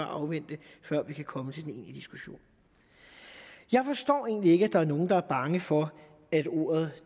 afvente før vi kan komme til den egentlige diskussion jeg forstår egentlig ikke at der er nogle der er bange for at ordet